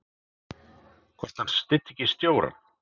Hvort að hann styddi ekki stjórann?